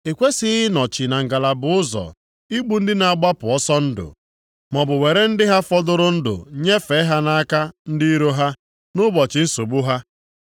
I kwesighị ịnọchi na ngalaba ụzọ igbu ndị na-agbapụ ọsọ ndụ, maọbụ were ndị ha fọdụrụ ndụ nyefee ha nʼaka ndị iro ha, nʼụbọchị nsogbu ha.